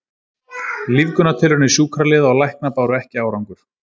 Lífgunartilraunir sjúkraliða og lækna báru ekki árangur.